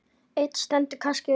Ein stendur kannski upp úr.